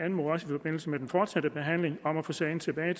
i forbindelse med den fortsatte behandling anmode om at få sagen tilbage